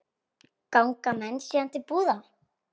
Ganga menn síðan til búða.